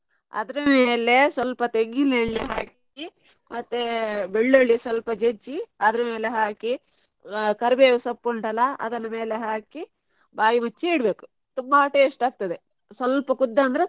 ಅದ್ರ ಮೇಲೆ ಸ್ವಲ್ಪ ತೆಂಗಿನ ಎಣ್ಣೆ ಹಾಕಿ ಮತ್ತೆ ಬೆಳ್ಳುಳ್ಳಿ ಸ್ವಲ್ಪ ಜಜ್ಜಿ ಅದ್ರ ಮೇಲೆ ಹಾಕಿ ಆ ಕರಿಬೇವು ಸೊಪ್ಪು ಉಂಟ್ ಅಲ್ಲಾ ಅದರ ಮೇಲೆ ಹಾಕಿ ಬಾಯಿ ಮುಚ್ಚಿ ಇಡ್ಬೇಕು. ತುಂಬಾ taste ಆಗ್ತದೆ ಸ್ವಲ್ಪ ಕುದ್ದ ಅಂದ್ರೆ.